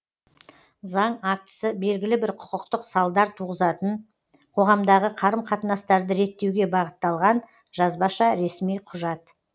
заң актісі белгілі бір құқықтық салдар туғызатын қоғамдағы қарым қатынастарды реттеуге бағытталған жазбаша ресми құжат